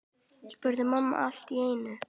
spurði mamma allt í einu.